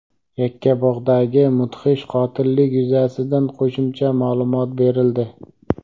Yakkabog‘dagi mudhish qotillik yuzasidan qo‘shimcha ma’lumot berildi.